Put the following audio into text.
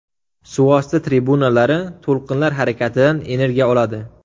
Suvosti trubinalari to‘lqinlar harakatidan energiya oladi.